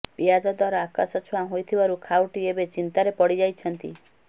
ପିଆଜ ଦର ଆକାଶଛୁଆଁ ହୋଇଥିବାରୁ ଖାଉଟି ଏବେ ଚିନ୍ତାରେ ପଡ଼ିଯାଇଛନ୍ତି